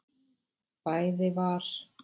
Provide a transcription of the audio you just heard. Bæði var